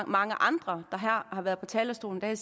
mange andre der har været på talerstolen her i